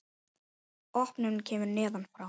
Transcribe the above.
Opnunin kemur neðan frá.